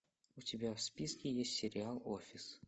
у тебя в списке есть сериал офис